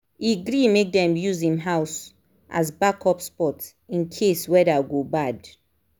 e gree make dem use him house as backup spot in case weather go bad.